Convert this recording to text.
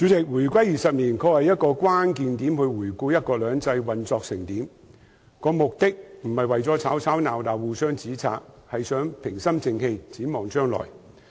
主席，回歸20年的確是一個關鍵點，用以回顧"一國兩制"運作得怎樣，不是為了吵吵鬧鬧、互相指摘，而是希望大家平心靜氣地展望將來。